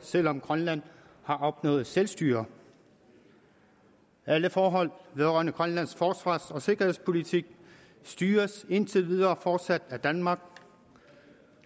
selv om grønland har opnået selvstyre alle forhold vedrørende grønlands forsvars og sikkerhedspolitik styres indtil videre fortsat af danmark